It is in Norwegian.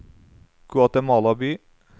Guatemala by